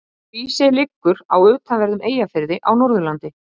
Hrísey liggur í utanverðum Eyjafirði á Norðurlandi.